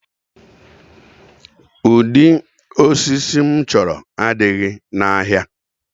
Ụdị osisi m chọrọ adịghị n'ahịa